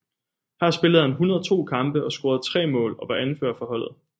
Her spillede han 102 kampe og scorede tre mål og var anfører for holdet